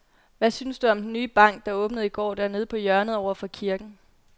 Hvad synes du om den nye bank, der åbnede i går dernede på hjørnet over for kirken?